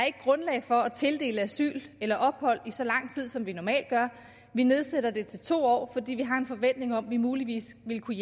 ikke grundlag for at tildele asyl eller ophold i så lang tid som vi normalt gør vi nedsætter det til to år fordi vi har en forventning om at vi muligvis vil kunne